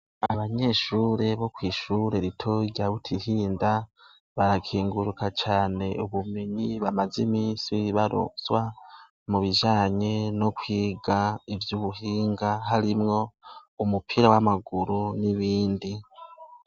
Abanyeshure bo kwishure ritoya rya butihinda barakenguruka cane ubumenyi bamaze imisi baronswa mubijanye n' ukwiga ivyubuhinga harimwo umupira w' amaguru n'ibindi.